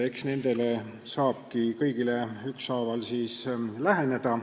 Nendele kõigile saab ükshaaval läheneda.